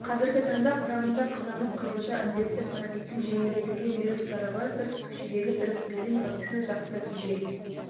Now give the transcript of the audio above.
қазіргі таңда құрамында қызамық қызылша індетті паротиттің жеңілдетілген вирустары бар бір түтікшедегі біріктірілген вакцина жақсы нәтиже